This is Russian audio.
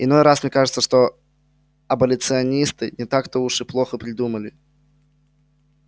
иной раз мне кажется что аболиционисты не так-то уж и плохо придумали